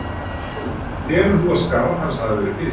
Telur þú að skarð hans hafi verið fyllt?